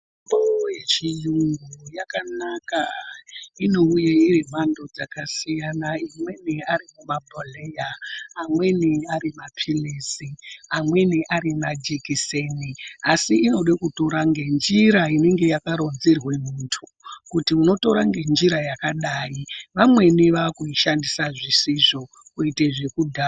Mitombo yechiyungu yakanaka inouye iri mumhando dzakasiyana, imweni ari mabhohleya, amweni ari maphirizi, amweni ari majekiseni. Asi inoda kutora ngenjira inonga yakaronzerwa muntu kuti unotora ngenjira yakadai vamweni vakuishandisa zvisizvo kuite zvekudhakwa.